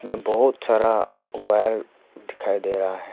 बहुत सारा वायर दिखाई दे रहा है।